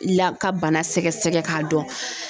La ka bana sɛgɛsɛgɛ k'a dɔn.